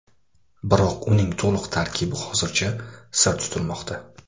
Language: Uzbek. Biroq uning to‘liq tarkibi hozircha sir tutilmoqda.